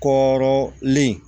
Kɔrɔlen